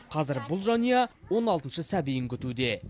қазір бұл жанұя он алтыншы сәбиін күтуде